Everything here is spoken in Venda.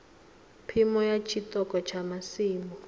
phimo ya tshiṱoko tsha masimu